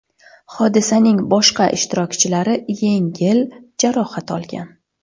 Hodisaning boshqa ishtirokchilari yengil jarohat olgan.